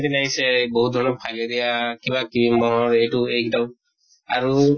দিন আহিছে, বহুত ধৰণৰ fileria কিবা কৃৰিমৰ এইটো একদম আৰু